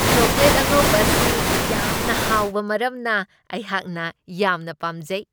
Chocolate ꯑꯉꯧꯕ ꯑꯁꯤ ꯌꯥꯝꯅ ꯍꯥꯎꯕ ꯃꯔꯝꯅ ꯑꯩꯍꯥꯛꯅ ꯌꯥꯝꯅ ꯄꯥꯝꯖꯩ ꯫